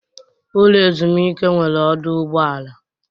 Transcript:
Ụlọ ezumike nwere ọdụ ụgbọ ala.